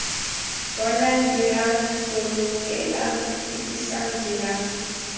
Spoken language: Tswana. bonang dirang bolokelang fetisang dirang